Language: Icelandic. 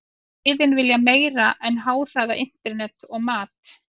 Liðin vilja meira en háhraða internet og mat.